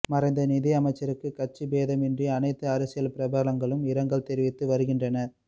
மறைந்த நிதியமைச்சருக்கு கட்சிபேதம் இன்றி அனைத்து அரசியல் பிரபலங்களும் இரங்கல் தெரிவித்து வருகின்றனர்